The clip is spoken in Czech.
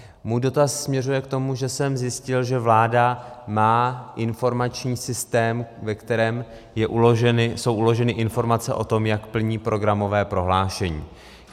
Můj dotaz směřuje k tomu, že jsem zjistil, že vláda má informační systém, ve kterém jsou uloženy informace o tom, jak plní programové prohlášení.